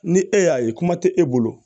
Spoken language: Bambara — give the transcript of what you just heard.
Ni e y'a ye kuma tɛ e bolo